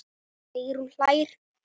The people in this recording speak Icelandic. Sigrún hlær.